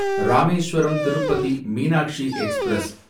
Rameswaram Tirupati Meenakshi express